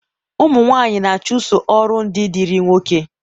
ụmụ nwanyị na-achụso ọrụ ndị dịịrị nwoke